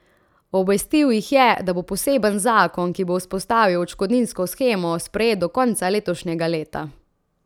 Obvestil jih je, da bo poseben zakon, ki bo vzpostavil odškodninsko shemo, sprejet do konca letošnjega leta.